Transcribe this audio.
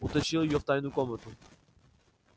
утащил её в тайную комнату